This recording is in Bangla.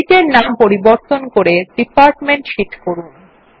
শীট এর নাম পরিবর্তন করে ডিপার্টমেন্ট শীট করুন